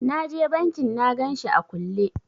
Na je bankin na ganshi a kulle.